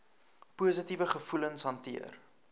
positiewe gevoelens hanteer